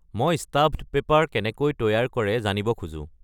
মই stuffed paper কেনেকৈ তৈয়াৰ কৰে জানিব খোজোঁ